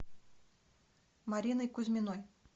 мариной кузьминой